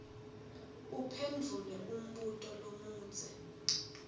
uphendvule umbuto lomudze